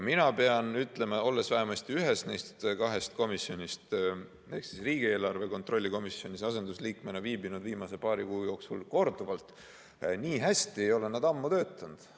Mina pean ütlema, olles vähemasti ühes neist kahest komisjonist ehk riigieelarve kontrolli komisjonis asendusliikmena viibinud viimase paari kuu jooksul korduvalt, et nii hästi ei ole nad ammu töötanud.